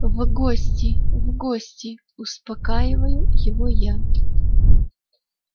в гости в гости успокаиваю его я